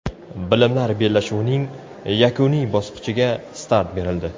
Bilimlar bellashuvining yakuniy bosqichiga start berildi.